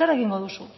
zer egingo duzu